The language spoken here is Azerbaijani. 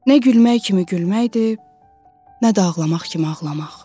Nə gülmək kimi gülməkdir, nə də ağlamaq kimi ağlamaq.